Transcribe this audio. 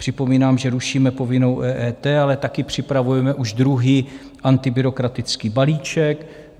Připomínám, že rušíme povinnou EET, ale taky připravujeme už druhý antibyrokratický balíček.